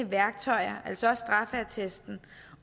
værktøjer altså også straffeattesten